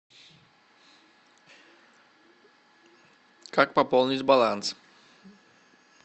как пополнить баланс